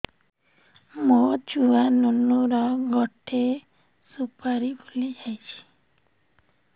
ମୋ ଛୁଆ ନୁନୁ ର ଗଟେ ସୁପାରୀ ଫୁଲି ଯାଇଛି